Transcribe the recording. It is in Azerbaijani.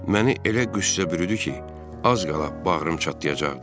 Məni elə qüssə bürüdü ki, az qala bağrım çatlayacaqdı.